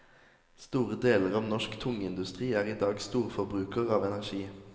Store deler av norsk tungindustri er i dag storforbruker av energi.